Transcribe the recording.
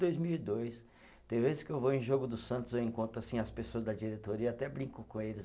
Dois mil e dois, tem vezes que eu vou em jogo do Santos eu encontro assim as pessoas da diretoria e até brinco com eles.